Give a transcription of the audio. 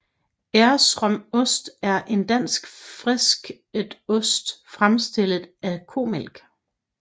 Esrom ost er en dansk fisket ost fremstillet af komælk